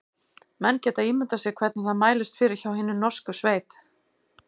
Menn geta ímyndað sér hvernig það mælist fyrir hjá hinni horsku sveit.